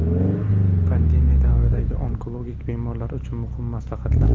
Pandemiya davridagi onkologik bemorlar uchun muhim maslahatlar.